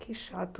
Que chato.